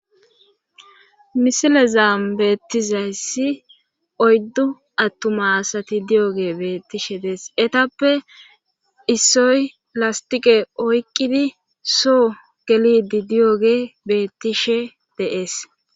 misile zaam beettizayssi oyddu attumaasati diyoge beettishe dees etappe issoy lastiqe oyqqidi soo gelidi di7oge beettishe deees